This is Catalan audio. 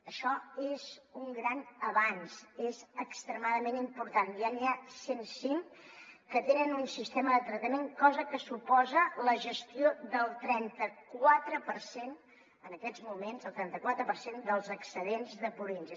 això és un gran avanç és extremadament important ja n’hi ha cent cinc que tenen un sistema de tractament cosa que suposa la gestió del trentaquatre per cent en aquests moments el trentaquatre per cent dels excedents de purins